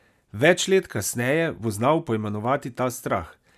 Več let kasneje bo znal poimenovati ta strah.